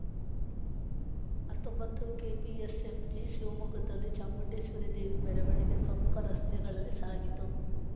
ಹತ್ತೊಂಬತ್ತು ಕೆಪಿಎಸ್‌ಎಂಜಿ ಶಿವಮೊಗ್ಗದಲ್ಲಿ ಚಾಮುಂಡೇಶ್ವರಿ ದೇವಿ ಮೆರವಣಿಗೆ ಪ್ರಮುಖ ರಸ್ತೆಗಳಲ್ಲಿ ಸಾಗಿತು